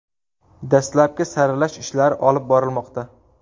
Dastlabki saralash ishlari olib borilmoqda.